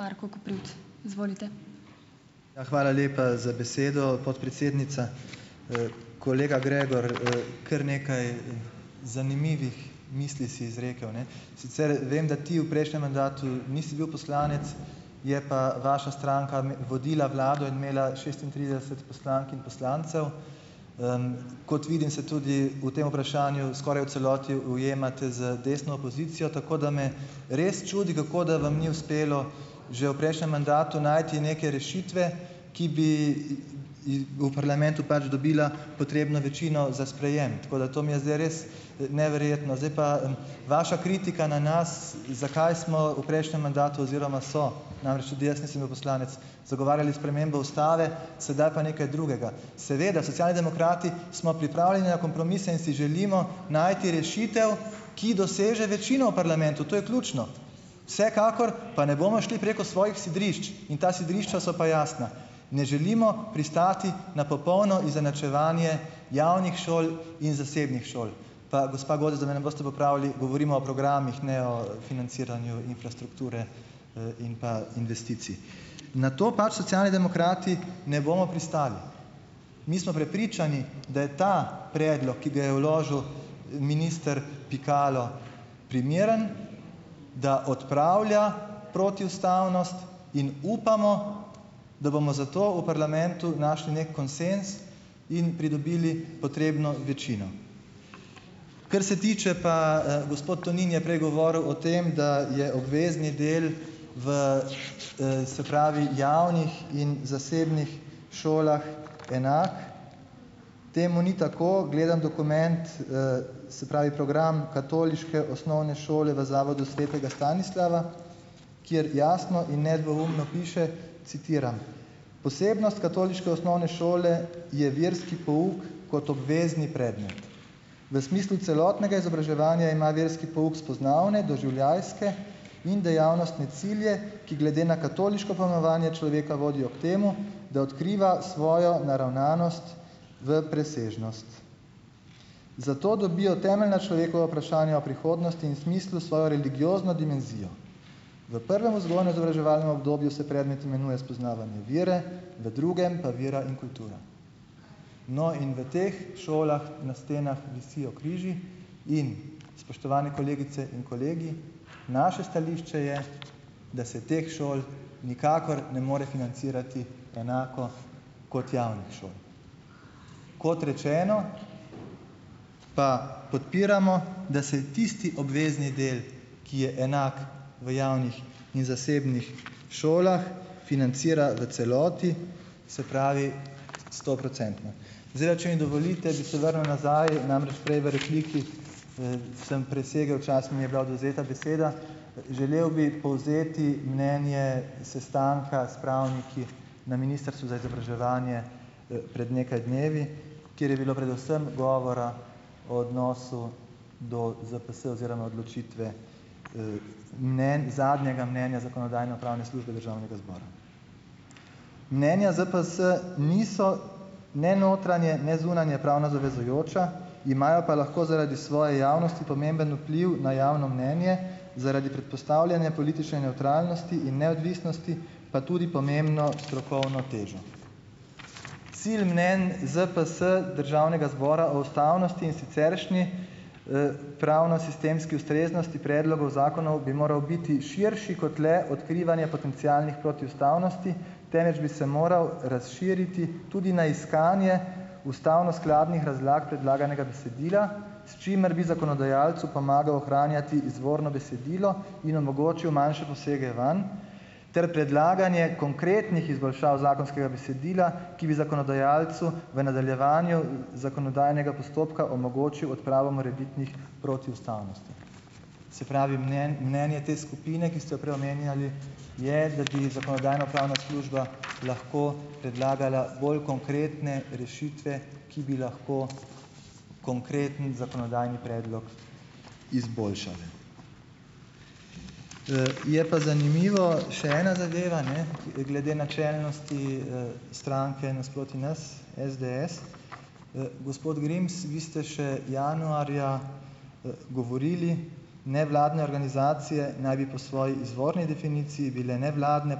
Marko Koprivc, izvolite. Ja, hvala lepa za besedo, podpredsednica. kolega Gregor, kar nekaj, zanimivih misli si izrekel, ne, sicer vem, da ti v prejšnjem mandatu nisi bil poslanec, je pa vaša stranka vodila vlado in imela šestintrideset poslank in poslancev, kot vidim se tudi v tem vprašanju skoraj v celoti ujemate z desno opozicijo, tako da me res čudi, kako da vam ni uspelo že v prejšnjem mandatu najti neke rešitve, ki bi in v parlamentu pač dobila potrebno večino za sprejem, tako da to mi je zdaj res neverjetno, zdaj pa vaša kritika na nas. Zakaj smo v prejšnjem mandatu oziroma so, namreč tudi jaz nisem bil poslanec, zagovarjali spremembo ustave, sedaj pa nekaj drugega? Seveda Socialni demokrati smo pripravljeni na kompromise in si želimo najti rešitev, ki doseže večino parlamentu, to je ključno, vsekakor pa ne bomo šli preko svojih sidrišč in ta sidrišča so pa jasna. Ne želimo pristati na popolno izenačevanje javnih šol in zasebnih šol, pa gospa Godec, da me ne boste popravili, govorimo o programih, ne o financiranju infrastrukture, in pa investicij, na to pač Socialni demokrati ne bomo pristali. Mi smo prepričani, da je ta predlog, ki ga je vložil minister Pikalo, primeren, da odpravlja protiustavnost, in upamo, da bomo zato v parlamentu našli neki konsenz in pridobili potrebno večino, kar se tiče pa, gospod Tonin je prej govoril o tem, da je obvezni del v, se pravi javnih in zasebnih šolah enak. Temu ni tako, gledam dokument, se pravi program katoliške osnovne šole v Zavodu svetega Stanislava, kjer jasno in nedvoumno piše, citiram: "Posebnost katoliške osnovne šole je verski pouk kot obvezni predmet, v smislu celotnega izobraževanja ima verski pouk spoznavne doživljajske in dejavnostne cilje, ki glede na katoliško malovanje človeka vodi ob tem, da odkriva svojo naravnanost v presežnost, zato dobijo temeljna človekova vprašanja o prihodnosti in smislu svojo religiozno dimenzijo." V prvem vzgojno-izobraževalnem obdobju se predmet imenuje Spoznavanje vere, v drugem pa Vera in kultura, no, in v teh šolah na stenah visijo križi in, spoštovani kolegice in kolegi, naše stališče je, da se teh šol nikakor ne more financirati enako kot javne šole. Kot rečeno, pa podpiramo, da se tisti obvezni del, ki je enak v javnih in zasebnih šolah, financira v celoti, se pravi stoprocentno. Zdaj, a če mi dovolite, bi se vrnil nazaj, namreč prej v repliki, sem presegel čas, mi je bila odvzeta beseda, želel bi povzeti mnenje sestanka s pravniki na ministrstvu za izobraževanje, pred nekaj dnevi, kjer je bilo predvsem govora o odnosu do ZPS oziroma odločitve, mnenj zadnjega mnenja zakonodajno-pravne službe državnega zbora. Mnenja ZPS niso ne notranje ne zunanje pravno zavezujoča, imajo pa lahko zaradi svoje javnosti pomemben vpliv na javno mnenje zaradi predpostavljene politične nevtralnosti in neodvisnosti pa tudi pomembno strokovno težo. Cilj mnenj ZPS državnega zbora o ustavnosti in siceršnji, pravnosistemski ustreznosti predlogov zakonov bi moral biti širši kot le odkrivanje potencialnih protiustavnosti, temveč bi se moral razširiti tudi na iskanje ustavno skladnih razlag predlaganega besedila, s čimer bi zakonodajalcu pomagal ohranjati izvorno besedilo in omogočil manjše posege vanj ter predlaganje konkretnih izboljšav zakonskega besedila, ki bi zakonodajalcu v nadaljevanju zakonodajnega postopka omogočil odpravo morebitnih protiustavnosti. Se pravi, mnenje te skupine, ki ste jo prej omenjali, je, da bi zakonodajno-pravna služba lahko predlagala bolj konkretne rešitve, ki bi lahko konkreten zakonodajni predlog izboljšale. je pa zanimivo, še ena zadeva ne glede načelnosti, stranke nasproti nas, SDS, gospod Grims, vi ste še januarja, govorili: "Nevladne organizacije naj bi po svoji izvorni definiciji bile nevladne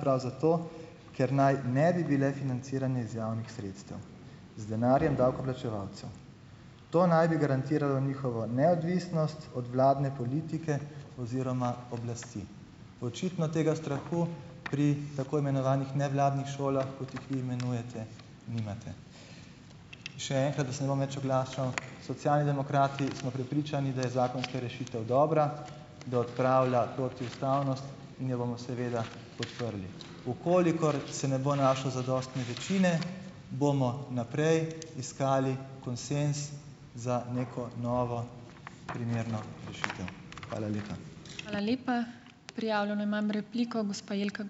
prav zato, ker naj ne bi bile financirane iz javnih sredstev z denarjem davkoplačevalcev, to naj bi garantiralo njihovo neodvisnost od vladne politike oziroma oblasti." Očitno tega strahu pri tako imenovanih nevladnih šolah, kot jih vi imenujete, nimate. Še enkrat, da se ne bom več oglašal. Socialni demokrati smo prepričani, da je zakonska rešitev dobra, da odpravlja protiustavnost, in jo bomo seveda podprli, v kolikor se ne bo našlo zadostne večine, bomo naprej iskali konsenz za neko novo primerno rešitev. Hvala lepa. Hvala lepa. Prijavljeno imam repliko, gospa Jelka ...